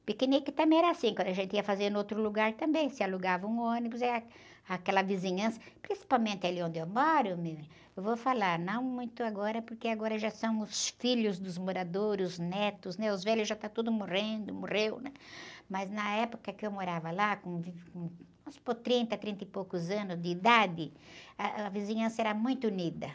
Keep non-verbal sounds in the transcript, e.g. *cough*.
O piquenique também era assim, quando a gente ia fazer no outro lugar também, se alugava um ônibus, aí, ah, aquela vizinhança, principalmente ali onde eu moro, *unintelligible* eu vou falar, não muito agora, porque agora já são os filhos dos moradores, os netos, né? Os velhos já estão todos morrendo, morreu, mas na época que eu morava lá, com, *unintelligible* vamos supor, trinta, trinta e poucos anos de idade, ah, a vizinhança era muito unida.